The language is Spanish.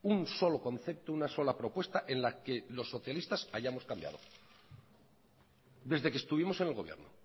un solo concepto una sola propuesta en la que los socialistas hayamos cambiado desde que estuvimos en el gobierno